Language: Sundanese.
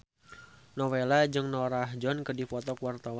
Nowela jeung Norah Jones keur dipoto ku wartawan